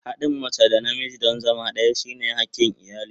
Haɗin mace da namiji don zama ɗaya shine hakin iyali.